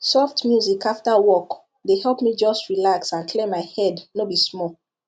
soft music after work dey help me just relax and clear my head no be small